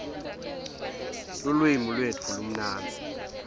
lulwimi lwetfu lumnandzi